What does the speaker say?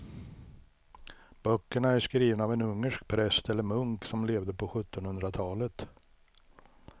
Böckerna är skrivna av en ungersk präst eller munk som levde på sjuttonhundratalet.